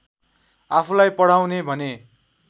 आफूलाई पढाउने भने